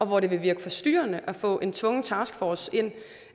hvor det vil virke forstyrrende at få en tvungen taskforce til